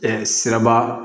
siraba